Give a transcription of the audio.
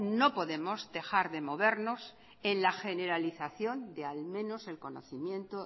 no podemos dejar de movernos en la generalización de al menos el conocimiento